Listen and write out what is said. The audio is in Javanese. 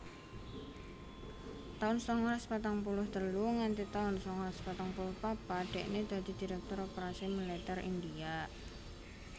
taun sangalas patang puluh telu nganti taun sangalas patang puluh papat dhekne dadi Direktur Operasi Militer India